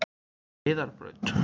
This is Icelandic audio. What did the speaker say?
Heiðarbraut